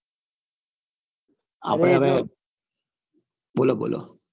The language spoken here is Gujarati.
બોલો બોલો